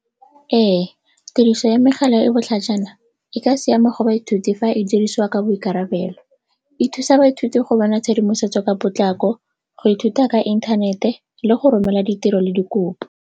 Ee, tiriso ya megala e e botlhajana e ka siama go baithuti fa e dirisiwa ka boikarabelo. E thusa baithuti go bona tshedimosetso ka potlako, go ithuta ka inthanete le go romela ditiro le dikopo.